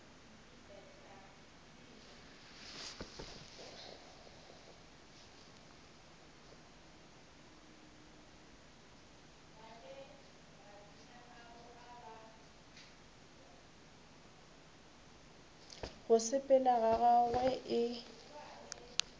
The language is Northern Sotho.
go sepela ga gagwe e